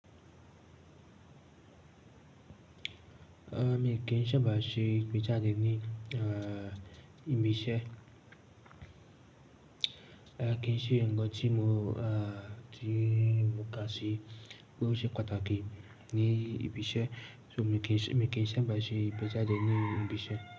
Ah, èmi kì ń sábà ṣe pizza diẹ ní, ah, ibi iṣẹ́. Ah, kì ń ṣe ǹkan tí mo, ah, tí mo kà sí pé ó ṣe pàtàkì ní ibi iṣẹ́. So èmi kì ń, èmi kì ń sábà ṣe pizza diẹ ní ibi iṣẹ́.